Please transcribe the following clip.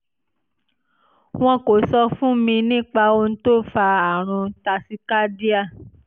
wọn kò sọ fún mi nípa ohun tó fa àrùn tachycardia